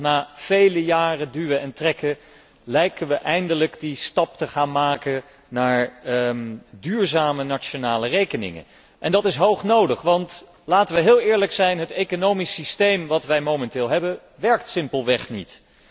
Na vele jaren duwen en trekken lijken we eindelijk die stap te maken naar duurzame nationale rekeningen en dat is hoog nodig, want laten we heel eerlijk zijn het economisch systeem dat wij momenteel hebben, werkt simpelweg niet.